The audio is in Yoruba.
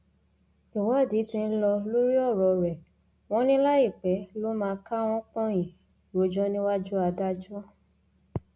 ìwádìí tí ń lọ lórí ọrọ rẹ wọn ní láìpẹ ló máa káwọn pọnyìn rojọ níwájú adájọ